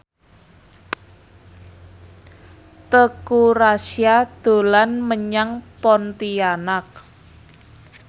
Teuku Rassya dolan menyang Pontianak